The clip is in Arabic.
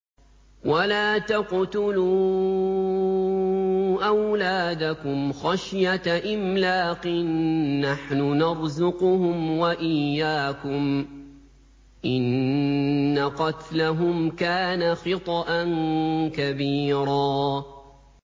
وَلَا تَقْتُلُوا أَوْلَادَكُمْ خَشْيَةَ إِمْلَاقٍ ۖ نَّحْنُ نَرْزُقُهُمْ وَإِيَّاكُمْ ۚ إِنَّ قَتْلَهُمْ كَانَ خِطْئًا كَبِيرًا